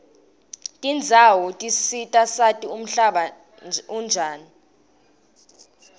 tendzawo tisisita sati umhlaba unjani